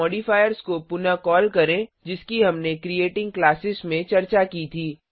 modifiers को पुनः call करें जिसकी हमने क्रिएटिंग क्लासेस में चर्चा की थी